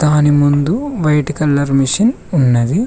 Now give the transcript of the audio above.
దాని ముందు white colour machine ఉన్నది